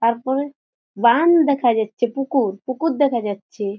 তারপর বান দেখা যাচ্ছে পুকুর পুকুর দেখা যাচ্ছে।